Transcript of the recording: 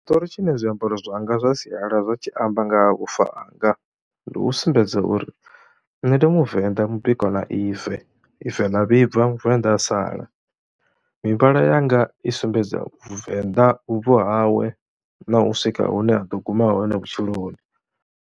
Tshiṱori tshine zwiambaro zwanga zwa sialala zwa tshi amba nga ha vhufa hanga, ndi u sumbedza uri nṋe ndi Muvenḓa mubikwa na ive, ive ḽa vhibva Muvenḓa a sala. Mivhala yanga i sumbedza Venḓa vhubvo hawe na u swika hune ha ḓo guma hone vhutshiloni.